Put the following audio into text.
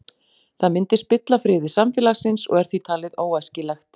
Það myndi spilla friði samfélagsins og er því talið óæskilegt.